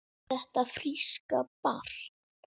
Þetta fríska barn?